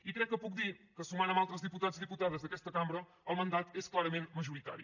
i crec que puc dir que sumant amb altres diputats i diputades d’aquesta cambra el mandat és majoritari